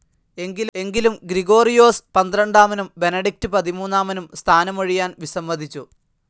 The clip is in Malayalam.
എങ്കിലും ഗ്രിഗോറിയോസ് പന്ത്രണ്ടാമനും ബെനഡിക്ട് പതിമൂന്നാമനും സ്ഥാനമൊഴിയാൻ വിസമ്മതിച്ചു.